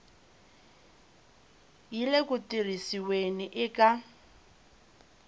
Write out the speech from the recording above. yi le ku tirhisiweni eka